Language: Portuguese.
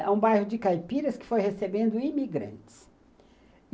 É um bairro de caipiras que foi recebendo imigrantes.